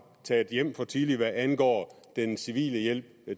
taget hjem for tidligt hvad angår den civile hjælp